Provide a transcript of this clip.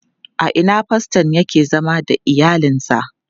A ina faston yake zama da iyalinsa?